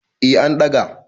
eh an ɗaga